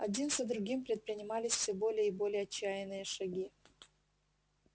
один за другим предпринимались всё более и более отчаянные шаги